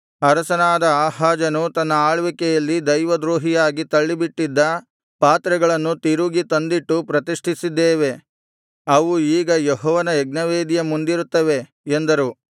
ಅರಸನಾದ ಆಹಾಜನು ತನ್ನ ಆಳ್ವಿಕೆಯಲ್ಲಿ ದೈವದ್ರೋಹಿಯಾಗಿ ತಳ್ಳಿಬಿಟ್ಟಿದ್ದ ಪಾತ್ರೆಗಳನ್ನು ತಿರುಗಿ ತಂದಿಟ್ಟು ಪ್ರತಿಷ್ಠಿಸಿದ್ದೇವೆ ಅವು ಈಗ ಯೆಹೋವನ ಯಜ್ಞವೇದಿಯ ಮುಂದಿರುತ್ತವೆ ಎಂದರು